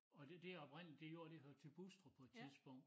Og det det oprindeligt det jord det hørte til Bostrup på et tidspunkt